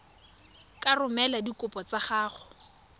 ka romela dikopo tsa gago